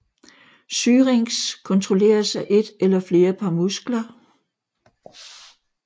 Syrinx kontrolleres af et eller flere par muskler